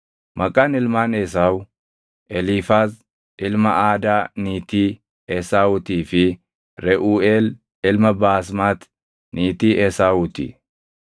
Maqaan ilmaan Esaawu: Eliifaaz, ilma Aadaa niitii Esaawuutii fi Reʼuuʼeel ilma Baasmati niitii Esaawuu ti.